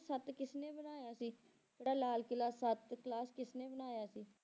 ਸੱਤ ਕਿਸਨੇ ਬਣਾਇਆ ਸੀ, ਜਿਹੜਾ ਲਾਲ ਕਿਲ੍ਹਾ ਸੱਤ ਕਿਲ੍ਹਾ ਕਿਸਨੇ ਬਣਾਇਆ ਸੀ?